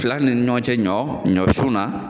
Fila ni ɲɔgɔn cɛ ɲɔ ɲɔsu na